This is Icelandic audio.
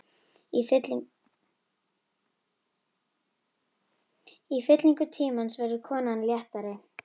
Í fyllingu tímans verður konan léttari.